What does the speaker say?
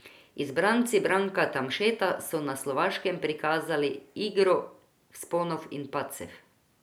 Izbranci Branka Tamšeta so na Slovaškem prikazali igro vzponov in padcev.